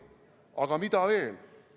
Aga mida veel?